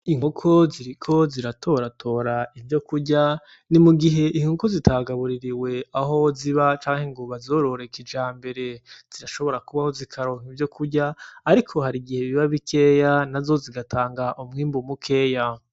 Inkoko ziriko ziratora tora ivyo kurya ni mugihe inkoko zitagabuririwe aho ziba canke ngo bazorore kijambere zirashobora kubaho zikaronka ivyo kurya ariko hari igihe biba bikeya nazo zigatanga umwimbu mukeya.